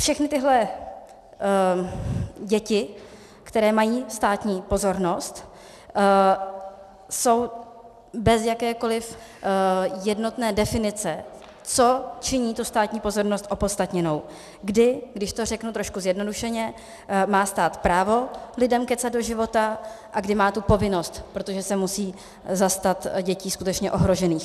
Všechny tyhle děti, které mají státní pozornost, jsou bez jakékoliv jednotné definice, co činí tu státní pozornost opodstatněnou, kdy, když to řeknu trošku zjednodušeně, má stát právo lidem kecat do života a kdy má tu povinnost, protože se musí zastat dětí skutečně ohrožených.